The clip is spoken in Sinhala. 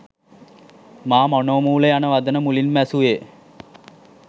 මා මනෝමූල යන වදන මුලින්ම ඇසූයේ